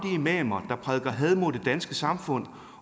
imamer der prædiker had mod det danske samfund